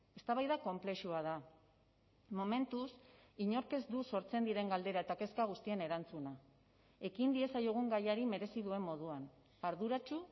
eztabaida konplexua da momentuz inork ez du sortzen diren galdera eta kezka guztien erantzuna ekin diezaiogun gaiari merezi duen moduan arduratsu